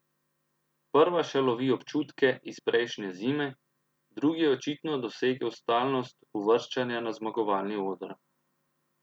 Prva še lovi občutke iz prejšnje zime, drugi je očitno dosegel stalnost uvrščanja na zmagovalni oder.